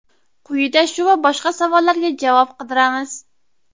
Quyida shu va boshqa savollarga javob qidiramiz.